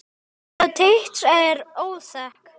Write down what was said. Kona Teits er óþekkt.